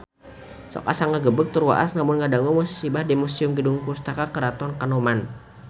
Sok asa ngagebeg tur waas lamun ngadangu musibah di Museum Gedung Pusaka Keraton Kanoman